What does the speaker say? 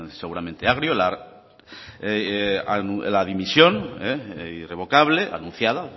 seguramente agrio la dimisión irrevocable anunciada